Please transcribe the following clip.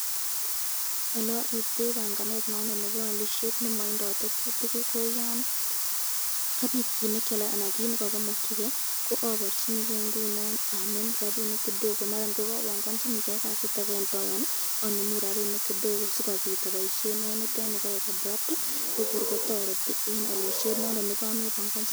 Olearibtei banganet nondon nebo alisyet nondon nematindo tetutik, ko yan kauit kit nekyaleanan kit nekakimakyike ko abarchiniken ngunon anem rabinik kidogo maran ko kwabankachini ken kasit ake eng tai anemu rapinik kidogo sikobit aboisyen eng niteni kaek abrupt ko kor kotoreti eng alisyet nekamebankachiken